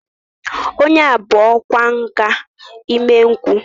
Onye bu ọkwá nkà imengwu